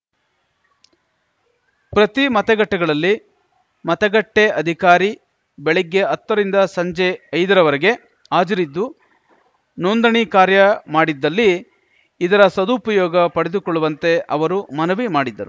ಪ್ರತಿ ಮತಗಟ್ಟೆಗಳಲ್ಲಿ ಮತಗಟ್ಟೆಅಧಿಕಾರಿ ಬೆಳಿಗ್ಗೆ ಹತ್ತ ರಿಂದ ಸಂಜೆ ಐದ ರವರೆಗೆ ಹಾಜರಿದ್ದು ನೋಂದಣಿ ಕಾರ್ಯ ಮಾಡಿದ್ದಲ್ಲಿ ಇದರ ಸದುಪಯೋಗ ಪಡೆದುಕೊಳ್ಳುವಂತೆ ಅವರು ಮನವಿ ಮಾಡಿದರು